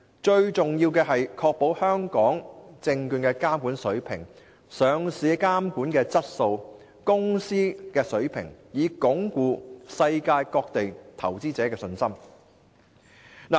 最重要的是確保香港證券的監管水平及上市的監管質素，才能鞏固世界各地投資者的信心。